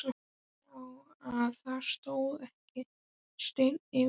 Hann sá að það stóð ekki steinn yfir steini.